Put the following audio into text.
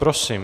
Prosím.